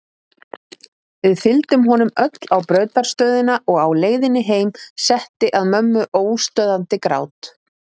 Við fylgdum honum öll á brautarstöðina og á leiðinni heim setti að mömmu óstöðvandi grát.